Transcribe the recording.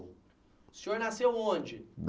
O senhor nasceu onde?